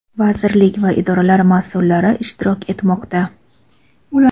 vazirlik va idoralar masʼullari ishtirok etmoqda.